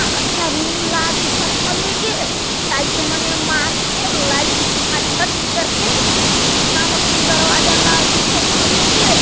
हाँ अच्छा रूम ला दिखत हवे गे टाइल्स माने मार के लाइट झका झक करके इतना मस्त दरवाजा ला दिखत हवे गे।